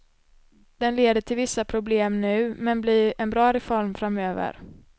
Den leder till vissa problem nu, men blir en bra reform framöver.